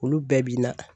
Olu bɛɛ bi na